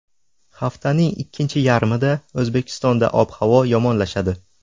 Haftaning ikkinchi yarmida O‘zbekistonda ob-havo yomonlashadi.